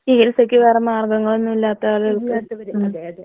ചികിത്സയ്ക്ക് വേറെ മാർഗ്ഗങ്ങള്ളൊന്നും ഒന്നുല്ലാത്ത ആളുകൾക്ക് ഉം.